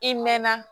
I mɛɛnna